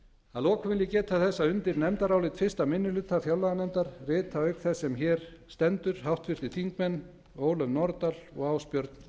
að lokum vil ég geta þess að undir nefndarálit fyrsti minni hluta fjárlaganefndar rita auk þess sem hér stendur háttvirtir þingmenn ólöf nordal og ásbjörn